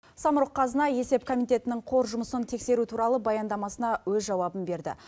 самрұқ қазына есеп комитетінің қор жұмысын тексеру туралы баяндамасына өз жауабын берді